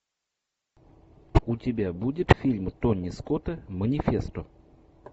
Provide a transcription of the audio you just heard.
у тебя будет фильм тони скотта манифесто